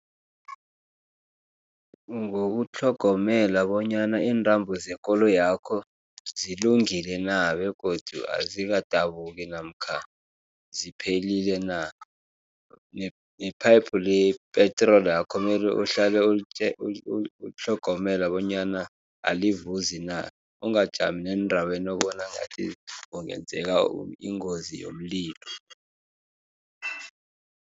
Ngokutlhogomela bonyana intambo zekoloyakho zilungile na, begodu azikadabuki, namkha ziphelile na, nephayiphu lepetrolakho melu uhlale ulitlhogomela bonyana alivuzi na, ungajami eendaweni ubona ngathi kungenzeka ingozi yomlilo.